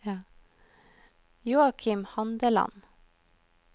Joakim Handeland